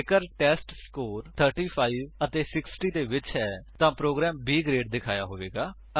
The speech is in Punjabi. ਜੇਕਰ ਟੈਸਟਸਕੋਰ 35 ਅਤੇ 60 ਦੇ ਵਿੱਚ ਹੈ ਤਾਂ ਪ੍ਰੋਗਰਾਮ B ਗਰੇਡ ਦਿਖਾਇਆ ਹੋਇਆ ਹੋਵੇਗਾ